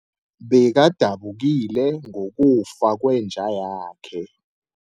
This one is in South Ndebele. Bekadabukile ngokufa kwenja yakhe.